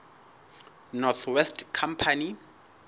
north west company